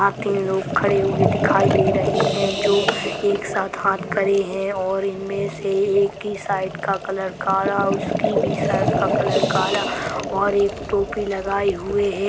वहां तीन लोग खड़े हुए दिखाई दे रहे हैं जो एक साथ हाथ करे हैं और इनमें से एक की शाइट का कलर कारा उसकी भी शर्ट का कलर काला और एक टोपी लगाए हुए है।